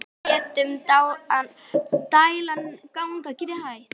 Og létum dæluna ganga.